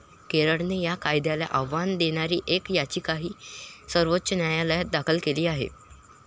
केरळने या कायद्याला आव्हान देणारी एक याचिकाही सर्वोच्च न्यायालयात दाखल केली आहे.